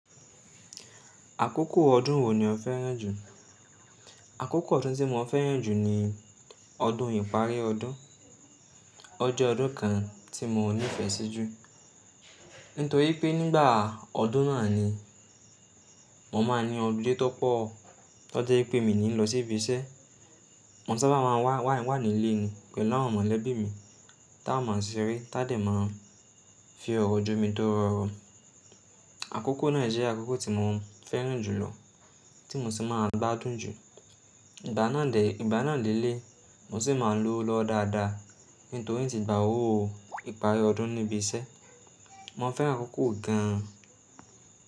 Àkókò ọdún wo ni o fẹ́ràn jù? Àkókò ọdún tí mo fẹ́ràn jù ni ọdún ìparí ọdún. O jẹ́ ọdún kan tí mo nífẹ̀ẹ́ sí jù. Nítorí pé nígbà ọdún náà ni mo máa ń ní holiday tó pọ̀, tó jẹ́ pé mi ní lọ sí ibi iṣẹ́. Mo sábà máa ń wa wà ní ilé ni pẹ̀lú àwọn mọ̀lẹ́bí mi, tá a máa ń ṣeré, tádẹ̀ máa ń fi ọ̀rọ̀ jó mi toro oro. Àkókò náà jẹ́ àkókò tí mo fẹ́ràn jù lọ tí mo sì máa ń gbádùn jù. Ìgbà náà lé lé, mo sì máa ń lọwo lọ́wo dáadáa. Nítorí i n ti gbà owó ìparí ọdún níbi iṣẹ́. Mo fẹ́ràn àkókò gan.